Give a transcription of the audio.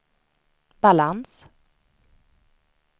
balans